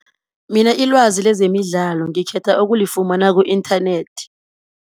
Mina ilwazi lezemidlalo ngikhetha ukulifumana ku-inthanethi.